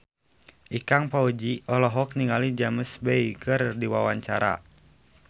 Ikang Fawzi olohok ningali James Bay keur diwawancara